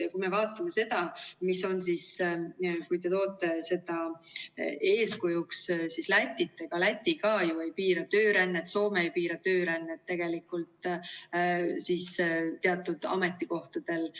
Ja kui me vaatame seda, kui te toote eeskujuks Lätit, ega Läti ka ju ei piira töörännet, Soome ei piira töörännet teatud ametikohtadel.